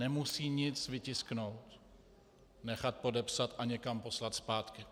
Nemusí nic tisknout, nechat podepsat a někam poslat zpátky.